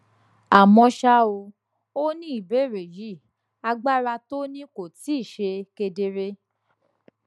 àmó ṣá o o ní ìbèrè yìí agbára tó ní kò tíì ṣe kedere